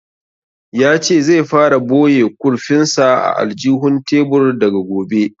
Ya ce zai fara boye kurfin sa a aljihun tebur daga gobe